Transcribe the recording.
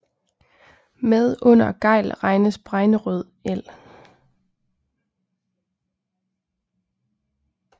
Med under Gejl regnes Bregnerød el